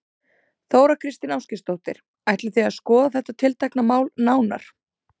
Þóra Kristín Ásgeirsdóttir: Ætlið þið að skoða þetta tiltekna mál nánar?